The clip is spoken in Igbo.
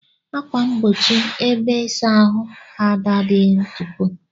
ákwà mgbochi ebe isa ahụ Ada adighi ntupo.